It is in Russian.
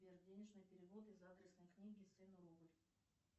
сбер денежные переводы из адресной книги сыну рубль